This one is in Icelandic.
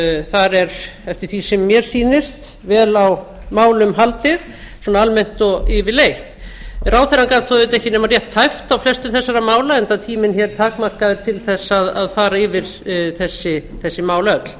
þar er eftir því sem mér sýnist vel á málum haldið svona almennt og yfirleitt ráðherra gat þó auðvitað ekki nema rétt tæpt á flestum þessara mála enda tíminn hér takmarkaður til þess að fara yfir þau öll